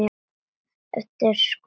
eftir Skúla Sæland.